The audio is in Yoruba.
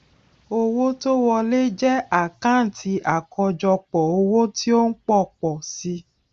owó tó wọlé jẹ àkántì àkọjọpọ owó tí ó ń pọ pọ si